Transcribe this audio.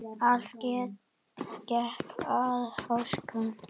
Allt gekk að óskum.